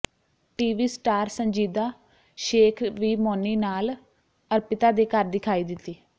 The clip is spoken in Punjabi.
ਟੀਵੀ ਸਟਾਰ ਸੰਜੀਦਾ ਸ਼ੇਖ ਵੀ ਮੌਨੀ ਨਾਲ ਅਰਪਿਤਾ ਦੇ ਘਰ ਦਿਖਾਈ ਦਿੱਤੀ